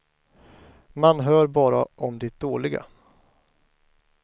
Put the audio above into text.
Man hör bara om det dåliga.